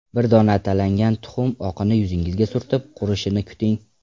Bir dona atalangan tuxum oqini yuzingizga surtib, qurishini kuting.